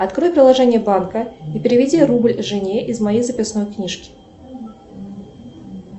открой приложение банка и переведи рубль жене из моей записной книжки